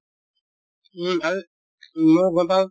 উম, আৰু